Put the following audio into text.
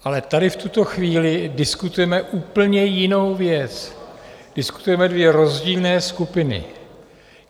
Ale tady v tuto chvíli diskutujeme úplně jinou věc, diskutujeme dvě rozdílné skupiny.